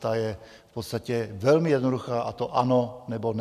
Ta je v podstatě velmi jednoduchá, a to ano nebo ne.